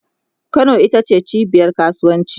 Kano ita ce cibiyar kasuwanci